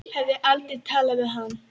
Hafði aldrei talað við hann.